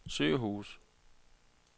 sygehuse